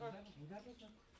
Nəyə baxırsan?